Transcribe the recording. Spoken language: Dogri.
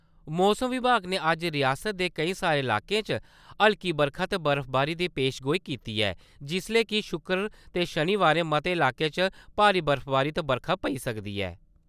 मौसम विभाग ने अज्ज रियासतै दे केंई सारे लाकें च हल्की बरखा ते बर्फबारी दी पेशेनगोई कीती ऐ जिसलै कि शुक्र ते शनिवारें मते लाकें च भारी बर्फबारी ते बरखा पेई सकदी ऐ।